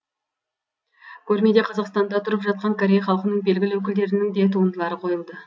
көрмеде қазақстанда тұрып жатқан корей халқының белгілі өкілдерінің де туындылары қойылды